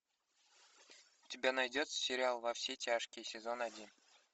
у тебя найдется сериал во все тяжкие сезон один